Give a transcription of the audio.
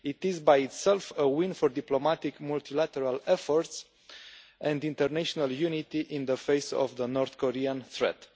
It is in itself a win for diplomatic multilateral efforts and international unity in the face of the North Korean threat.